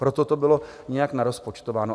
Proto to bylo nějak narozpočtováno.